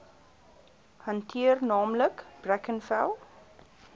hanteer naamlik brackenfell